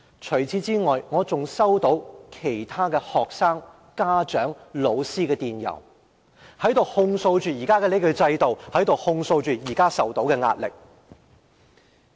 除此以外，我還收到其他學生、家長、老師的電郵，控訴現時的制度，以及所承受的壓力。